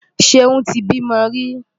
Ṣeún ti bímọ rí.